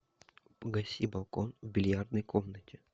погаси балкон в бильярдной комнате